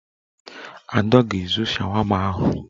Ada ga-ezo shawama ahụ